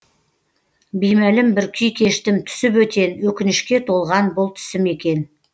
беймәлім бір күй кештім түсі бөтен өкінішке толған бұл түсім екен